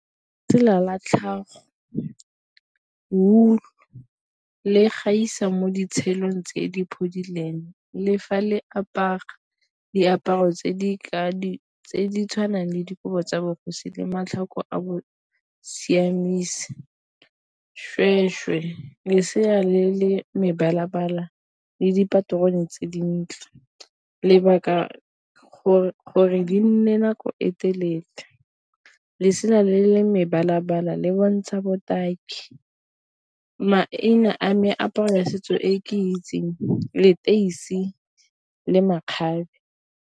Tsela la tlhago wool-u le gaisa mo tse di phodileng le fa le apara diaparo tse di tshwanang le dikobo tsa bogosi le matlhoko a siamisa. lesea le le mebala-bala le dipaterone tse dintle lebaka, gore di nne nako e telele, lesela le le mebala-bala le bontsha botaki. Maina a meaparo ya setso e ke itseng leteisi le makgabe.